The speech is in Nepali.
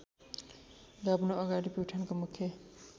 गाभ्नुअगाडि प्युठानको मुख्य